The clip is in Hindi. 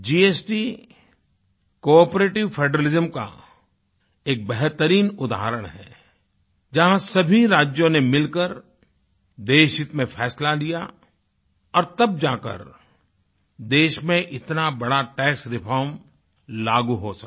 जीएसटी कोआपरेटिव फेडरलिज्म का एक बेहतरीन उदाहरण है जहाँ सभी राज्यों ने मिलकर देशहित में फ़ैसला लिया और तब जाकर देश में इतना बड़ा टैक्स रिफॉर्म लागू हो सका